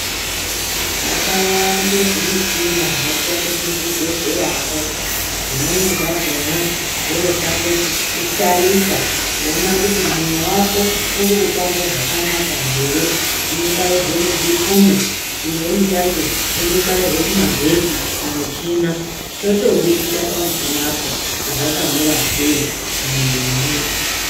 Zvakawande zvimichina zvinoshande muzvibhedhleyamwo, zvimweni zvakhona zvoshande kutarisa kuona kuti ,mwoyo wako uri kuphamba zvakanaka here, zvinobairwe muzvikunwe, chimweni chacho, chondobairwe kumagetsi kumuchina chotobudisa pamuchinapo kuti zvakamira sei, mumwiri wemuntu.